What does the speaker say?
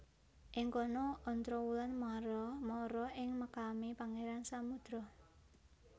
Ing kono Ontrowulan mara ing makame Pangeran Samudro